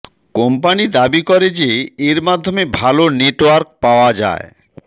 company দাবি করে যে এর মাধ্যমে ভালো নেটওয়ার্ক পাওয়া যায়